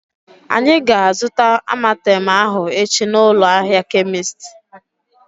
Anyị ga-azuta Amartem ahu echi na ụlọ ahịa kemist